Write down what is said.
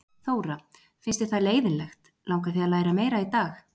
Þóra: Finnst þér það leiðinlegt, langar þig að læra meira í dag?